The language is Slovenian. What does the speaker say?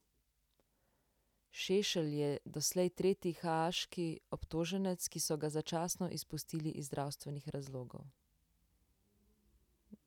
Šešelj je doslej tretji haaški obtoženec, ki so ga začasno izpustili iz zdravstvenih razlogov.